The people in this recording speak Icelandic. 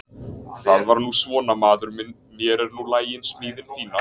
Það er nú svona maður minn mér er nú lagin smíðin fína.